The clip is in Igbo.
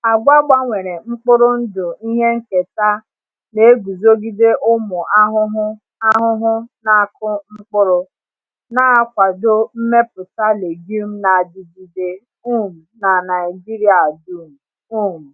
Agwa gbanwere mkpụrụ ndụ ihe nketa na-eguzogide ụmụ ahụhụ ahụhụ na-akụ mkpụrụ, na-akwado mmepụta legume na-adigide um n’Naijiria dum. um